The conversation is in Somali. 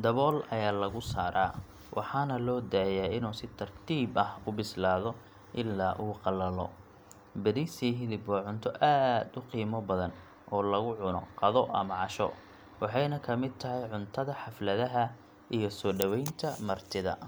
Dabool ayaa lagu saaraa, waxaana loo daayaa inuu si tartiib ah u bislaado ilaa uu qallalo. Bariis iyo hilib waa cunto aad u qiimo badan oo lagu cuno qado ama casho, waxayna ka mid tahay cuntada xafladaha iyo soo dhoweynta martida.